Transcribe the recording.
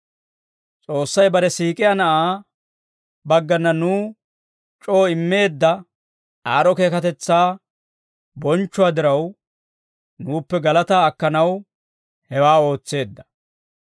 S'oossay bare siik'iyaa Na'aa baggana nuw c'oo immeedda aad'd'o keekatetsaa bonchchuwaa diraw, nuuppe galataa akkanaw hewaa ootseedda.